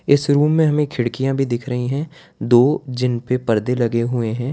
इस रूम में हमें खिड़कियां भी दिख रही हैं दो जिनपे परदे लगे हुए हैं।